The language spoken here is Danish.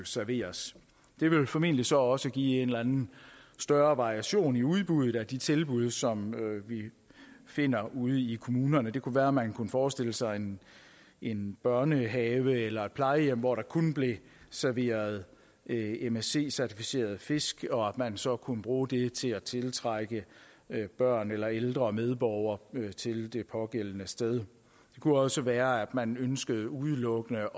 serveres det vil formentlig så også give en eller anden større variation i udbuddet af de tilbud som vi finder ude i kommunerne det kunne være man kunne forestille sig en en børnehave eller et plejehjem hvor der kun blev serveret msc certificeret fisk og at man så kunne bruge det til at tiltrække børn eller ældre medborgere til det pågældende sted det kunne også være at man ønskede udelukkende